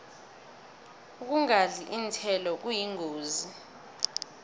ukungadli iinthelo kuyingozi